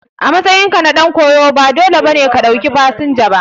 A matsayinka na dan koyo ba dole ba ne ka ɗauki fasinja ba.